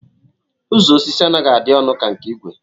Uzo osi anaghi adi onu ka nke igwe